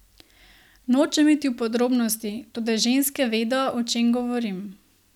Nočem iti v podrobnosti, toda ženske vedo, o čem govorim.